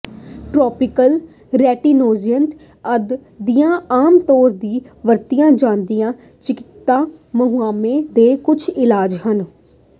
topical retinoids ਅੱਜ ਦੀਆਂ ਆਮ ਤੌਰ ਤੇ ਵਰਤੀਆਂ ਜਾਂਦੀਆਂ ਚਿਕਿਤਸਕ ਮੁਹਾਸੇ ਦੇ ਕੁਝ ਇਲਾਜ ਹਨ